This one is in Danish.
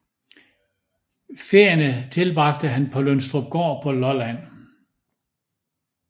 Ferierne tilbragte han på Lønstrupgård på Lolland